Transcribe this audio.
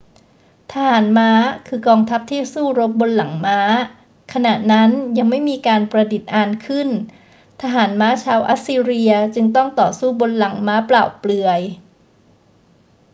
ทหารม้าคือกองทัพที่สู้รบบนหลังม้า ขณะนั้นยังไม่มีการประดิษฐ์อานขึ้น ทหารม้าชาวอัสซีเรียจึงต้องต่อสู้บนหลังม้าเปล่าเปลือย